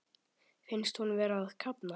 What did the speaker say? Finnst hún vera að kafna.